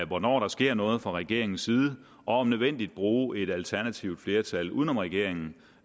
hvornår der sker noget fra regeringens side og om nødvendigt bruge et alternativt flertal uden om regeringen